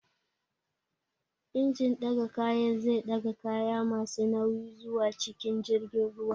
Injin ɗaga kayan zai ɗaga kaya masu nauyi zuwa cikin jirgin ruwa